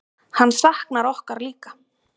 Hann saknar okkur líka.